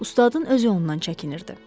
Ustadın öz yolundan çəkinirdi.